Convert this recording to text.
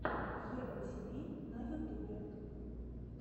ева тиви на ютубе